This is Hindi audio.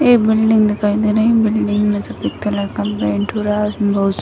ये बिल्डिंग दिखाई दे रही बिल्डिंग में सफ़ेद कलर का पेंट हो रहा है बोहोत स --